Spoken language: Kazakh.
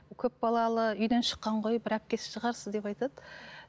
көп балалы үйден шыққан ғой бір әпкесі шығарсыз деп айтады